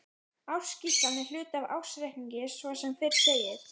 Ársskýrslan er hluti af ársreikningi svo sem fyrr segir.